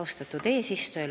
Austatud eesistuja!